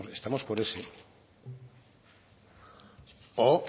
estamos por ese o